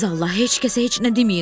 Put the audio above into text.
Siz Allah, heç kəsə heç nə deməyin.